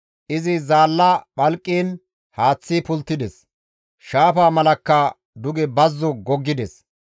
Izi zaalla phalqiin haaththi pulttides; shaafa malakka duge bazzo goggides.